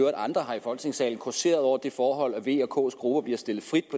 med andre her i folketingssalen causeret over det forhold at v og ks grupper bliver stillet frit